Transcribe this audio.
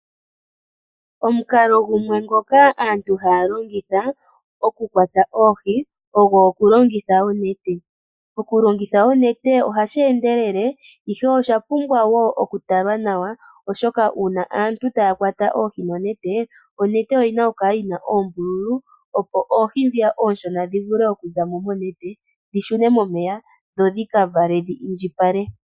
Omukalo gumwe ngoka aantu haya longitha okukwata oohi ogo okulongitha onete. Okulongitha onete ohashi endelele, ihe osha pumbwa wo okutalwa nawa, oshoka uuna aantu taya kwata oohi nonete, onete oyi na okukala yi na oombululu, opo oohi oonshona dhi vule okuza mo monete dhi shune momeya dho dhi ka vale dhi indjipale.